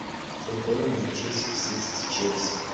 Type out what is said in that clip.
футбол манчестер сити с челси